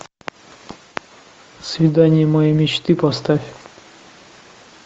свидание моей мечты поставь